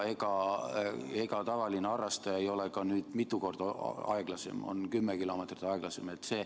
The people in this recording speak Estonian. Ja ega tavaline harrastaja ei ole ka mitu korda aeglasem, ta on 10 km/h aeglasem.